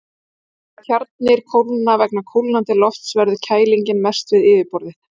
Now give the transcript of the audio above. Þegar tjarnir kólna vegna kólnandi lofts verður kælingin mest við yfirborðið.